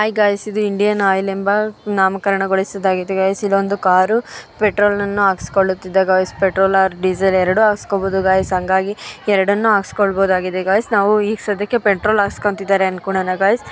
ಹಿ guys ಇದು Indian oil ಎಂಬ ನಾಮಕರಣಗೊಳಿಸಿದ್ದಾಗಿದೆ ಗೈಸ ಇದೊಂದು ಕಾರು ಪೆಟ್ರೋಲನ್ನು ಹಾಕಿಸಿಕೊಳ್ಳುತ್ತಿದ ಗೈಸ ಪೆಟ್ರೋಲ್ ಓರ್ ಡೀಸೆಲ್ ಎರಡು ಹಾಕಿಸ್ಕೊಬಹುದು ಗೈಸ ಹಾಂಗಾಗಿ ಎರಡನ್ನು ಹಾಕಿಸ್ಕೊಬಹುದಾಗಿದೆ ಗೈಸ ನಾವು ಈ ಸದ್ಯಕ್ಕೆ ಪೆಟ್ರೋಲ್ ಹಾಕಿಸ್ಕೊಂತಿದ್ದಾರೆ ಅಂದ್ಕೊಳ್ಳೋಣ